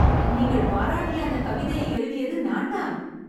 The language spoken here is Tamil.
நீங்கள் பாராட்டிய அந்தக் கவிதையை எழுதியது நான் தான்